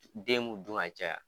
Den b'u dun a caya.